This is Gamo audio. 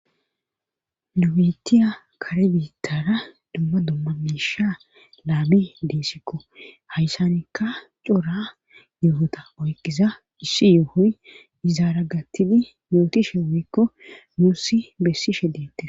Nu bitiya kare biittara dumma dumma miisha laami di'sikko hayssanikka cora yoohota oyqiza issi yoohoy izaara gattidi mootishe woyikko nussi besishe dettes